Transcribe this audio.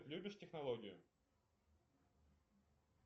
любишь технологию